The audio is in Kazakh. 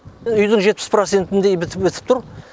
үйдің жетпіс процентіндей бітіп тұр